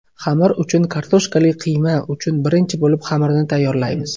Xamir uchun Kartoshkali qiyma uchun Birinchi bo‘lib xamirni tayyorlaymiz.